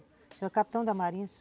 O senhor é o capitão da marinha?